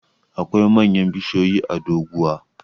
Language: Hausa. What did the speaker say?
akwai manyan bishiyoyi a doguwa